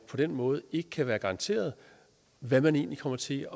på den måde ikke kan være garanteret hvad man egentlig kommer til